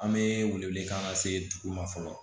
An bɛ wele wele kan se dugu ma fɔlɔ